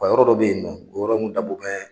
U yɔrɔ dɔ be yen nɔ, o yɔrɔ nunnu dabɔn bɛ